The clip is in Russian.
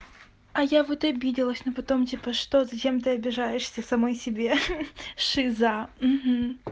а я вот обиделась но потом типа что зачем ты обижаешься самой себе шиза